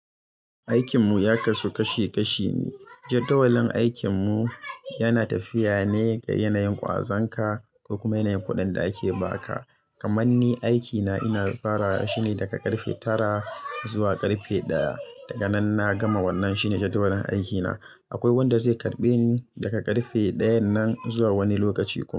Aikinmu ya kasu kashi kashi ne. Jadawalin aikinmu yana tafiya ne ga yanayin ƙwazon ka da kuma yanayin kuɗin da ake ba ka. Kamanni aikina ina fara shine daga ƙarfe tara zuwa ƙarfe ɗaya. Daga nan na gama wannan shine jadawalin aikina. Akwai wanda zai karɓe ni daga ƙarfe ɗayan nan zuwa wani lokaci.